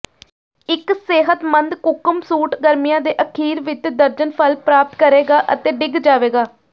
ਇੱਕ ਸਿਹਤਮੰਦ ਕੁਕਮ ਸੂਟ ਗਰਮੀਆਂ ਦੇ ਅਖੀਰ ਵਿੱਚ ਦਰਜਨ ਫਲ ਪ੍ਰਾਪਤ ਕਰੇਗਾ ਅਤੇ ਡਿੱਗ ਜਾਵੇਗਾ